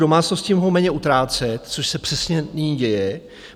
Domácnosti mohou méně utrácet, což se přesně nyní děje.